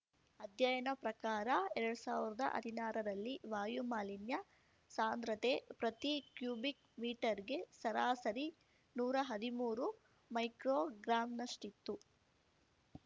ಅಧ್ಯಯನ ಪ್ರಕಾರ ಎರಡ್ ಸಾವ್ರ್ದ ಅದಿನಾರರಲ್ಲಿ ವಾಯು ಮಾಲಿನ್ಯ ಸಾಂಧ್ರತೆ ಪ್ರತಿ ಕ್ಯುಬಿಕ್‌ ಮೀಟರ್‌ಗೆ ಸರಾಸರಿ ನೂರಾ ಹದಿಮೂರು ಮೈಕ್ರೋಗ್ರಾಮ್‌ನಷ್ಟಿತ್ತು